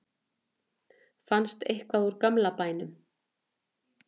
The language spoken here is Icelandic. fannst eitthvað úr gamla bænum